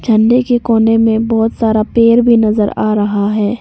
ठंडे के कोने में बहुत सारा पेड़ भी नजर आ रहा है।